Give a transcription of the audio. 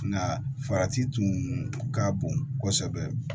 Nka farati tun ka bon kosɛbɛ